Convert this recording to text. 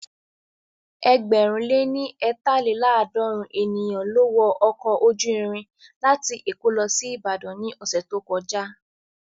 Ẹgbẹ̀rún lé ní eetalelaadorin ènìyàn ló wọ ọkọ̀ ojú irin láti èkó lọ sí Ìbàdàn ní ọ̀sẹ̀ tó kọjá